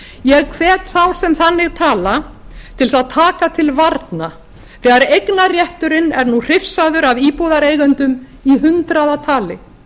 ég hvet þá sem þannig tala til þess að taka til varna þegar eignarrétturinn er nú hrifsaður af íbúðareigendum í hundraðatali